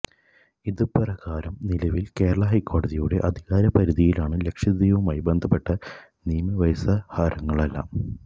ഇതുപ്രകാരം നിലവില് കേരള ഹൈക്കോടതിയുടെ അധികാര പരിധിയിലാണ് ലക്ഷദ്വീപുമായി ബന്ധപ്പെട്ട നിയമവ്യവഹാരങ്ങളെല്ലാം